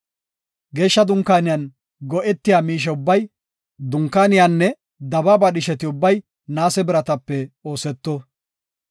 “Geeshsha Dunkaaniyan go7etiya miishe ubbay, dunkaaniyanne dabaaba dhisheti ubbay naase biratape ooseto.